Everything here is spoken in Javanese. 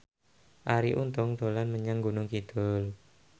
Arie Untung dolan menyang Gunung Kidul